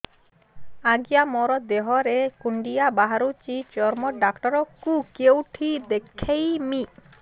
ଆଜ୍ଞା ମୋ ଦେହ ରେ କୁଣ୍ଡିଆ ବାହାରିଛି ଚର୍ମ ଡାକ୍ତର ଙ୍କୁ କେଉଁଠି ଦେଖେଇମି